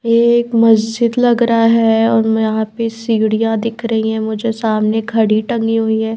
ये एक मस्जिद लग रहा है और यहां पे सीढ़ियां दिख रही है मुझे सामने खड़ी टंगी हुई है।